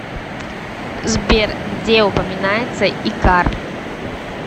сбер где упоминается икар